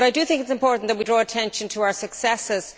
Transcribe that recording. I do think it is important that we draw attention to our successes.